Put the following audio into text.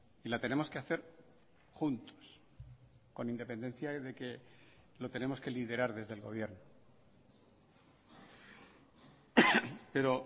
y la tenemos que hacer juntos con independencia de que lo tenemos que liderar desde el gobierno pero